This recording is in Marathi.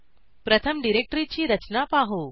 प्रथम डिरेक्टरीची रचना पाहू